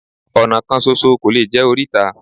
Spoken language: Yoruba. Ọ̀nà kan ṣoṣo kò lè jẹ́ oríta